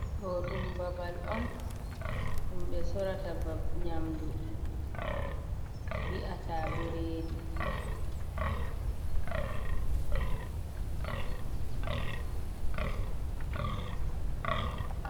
Ɗo ɗum babal on ɗum ɓe sorata nyamdu bi'ata ɓurɗi.